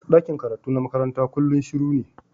Dakin karatu na makaranta kullum shiru ne.